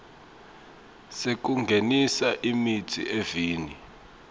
sekungenisa imitsi eveni